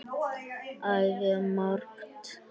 Æði margt.